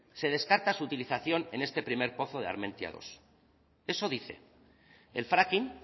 se descarta su utilización en este primer pozo de armentiamenos dos eso dice el fracking